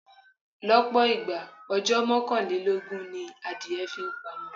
Lọ́pọ̀ ìgbà, ọjọ́ mọ́kànlélógún ni adìẹ fi pamọ.